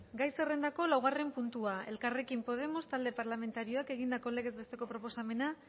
gai zerrendako laugarren puntua elkarrekin podemos talde parlamentarioak egindako legez besteko proposamena